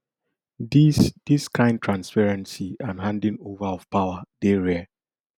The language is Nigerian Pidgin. dis dis kain transparency and handing ova of power dey rare